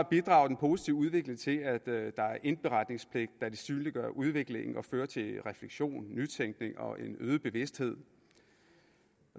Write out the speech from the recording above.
bidrager den positive udvikling til at der er indberetningspligt da det synliggør udviklingen og fører til refleksion nytænkning og en øget bevidsthed